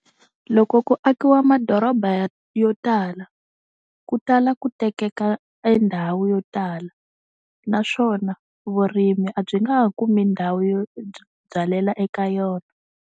Loko ku akiwa madoroba yo tala ku tala ku tekeka e ndhawu yo tala naswona vurimi a byi nga ha kumi ndhawu yo byi byalela eka yona.